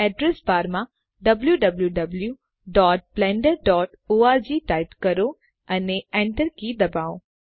address બારમાં wwwblenderorg type કરો અને એન્ટર કી દબાવો